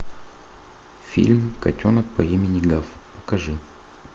фильм котенок по имени гав покажи